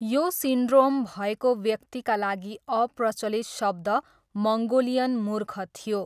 यो सिन्ड्रोम भएको व्यक्तिका लागि अप्रचलित शब्द मङ्गोलियन मूर्ख थियो।